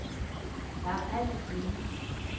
Der er alt at vinde.